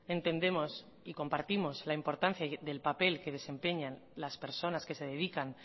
entendemos y compartimos la importancia del papel que desempeñan las personas que se dedican